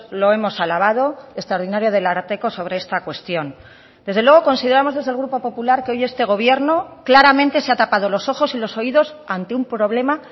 lo hemos alabado extraordinaria del ararteko sobre esta cuestión desde luego consideramos desde el grupo popular que hoy este gobierno claramente se ha tapado los ojos y los oídos ante un problema